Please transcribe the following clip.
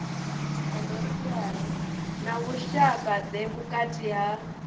na vhushaka ḓe vhukati ha